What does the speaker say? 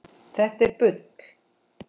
Þetta er bull!